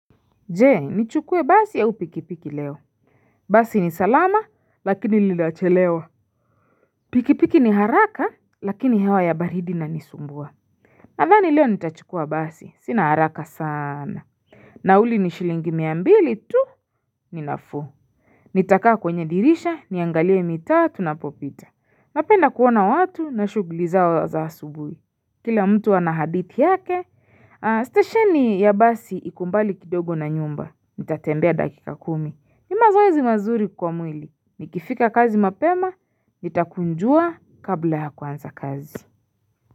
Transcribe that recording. Je nichukue basi au pikipiki leo Basi ni salama lakini lilachelewa Pikipiki ni haraka lakini hewa ya baridi ina nisumbua Nadhani leo nitachukua basi sina haraka sana Nauli ni shilingi mia mbili tu ni nafuu Nitakaa kwenye dirisha niangalie mitaa tunapopita napenda kuona watu na shugli zao za asubui Kila mtu ana hadithi yake Stesheni ya basi iko mbali kidogo na nyumba Nitatembea dakika kumi ni mazoezi mazuri kwa mwili Nikifika kazi mapema nitakunjua kabla ya kuanza kazi.